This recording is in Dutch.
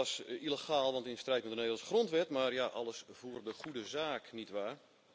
Dat was illegaal, want in strijd met de Nederlandse grondwet, maar ja, alles voor de Goede Zaak, nietwaar?